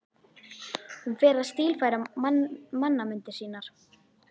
Hún fer að stílfæra mannamyndir sínar.